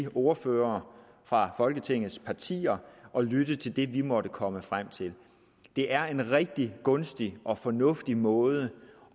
ordførere fra folketingets partier og lytte til det vi måtte komme frem til det er en rigtig gunstig og fornuftig måde